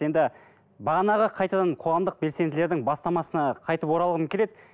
енді бағанағы қайтадан қоғамдық белсенділердің бастамасына қайтып оралғым келеді